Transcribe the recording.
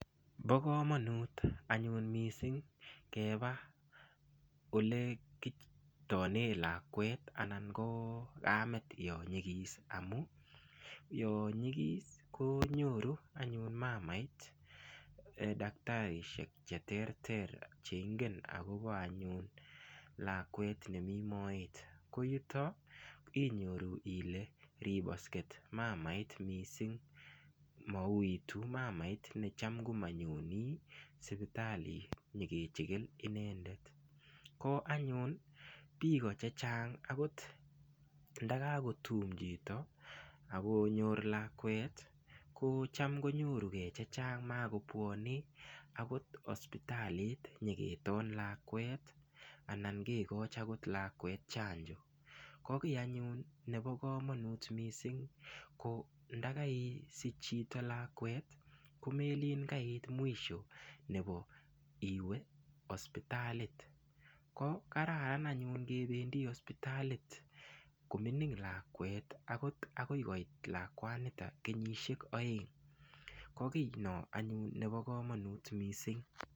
Bokomonut anyun mising keba ole kitone lakwet anan ko kamet yo nyikis amu yo nyikis konyoru anyun mamait daktarisiek che ter ter cheingen akobo anyun lakwet nemi moet ko yuto inyoru ile ribosket mamait mising mau itu mamait necham komanyoni sipitali nyekecheken inendet ko anyun biko che chang akot ndakako tum chito akonyor lakwet ko cham konyoruke chechang makopwoni akot hosipitalit nyeketon lakwet anan kekoch akot lakwet chanjo ko kiy anyun nebo komonut mising ko ndakaisich chito lakwet ko melin kaiit mwisho nebo iwe hospitalit ko kararan anyun kebendi hospitalit kominig lakwet akot akoi koot lakwanita kenyishek oeng ko kiy no anyun nebo komonut mising.